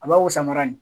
A b'a wusa mara nin